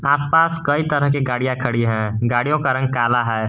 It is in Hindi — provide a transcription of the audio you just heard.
आसपास कई तरह के गाड़ियां खड़ी है गाड़ियों का रंग काला है।